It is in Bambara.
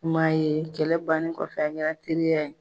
I m'a ye kɛlɛ bannen kɔfɛ a kɛra teriya ye.